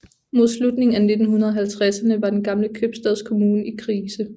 Mod slutningen af 1950erne var den gamle købstadskommune i krise